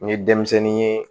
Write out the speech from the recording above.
N ye denmisɛnnin ye